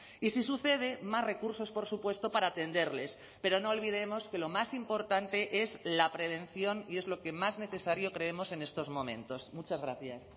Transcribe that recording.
y si sucede más recursos por supuesto para atenderles pero no olvidemos que lo más importante es la prevención y es lo que más necesario creemos en estos momentos muchas gracias